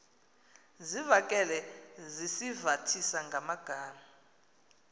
zivakale sizivathisa ngamagama